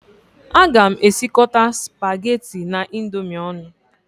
Aga m esikọta spaghetti na Indomie ọnụ